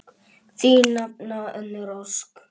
Þín nafna, Unnur Ósk.